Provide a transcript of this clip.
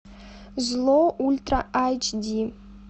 зло ультра айч ди